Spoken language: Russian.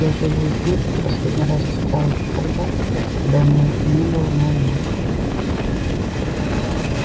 я живую книжку последний раз читал ещё тогда когда у меня не было ноутбука